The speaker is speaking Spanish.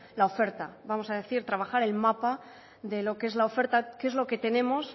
la oferta vamos a decir trabajar el mapa de lo que es la oferta qué es lo que tenemos